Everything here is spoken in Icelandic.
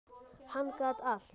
Hann gat allt.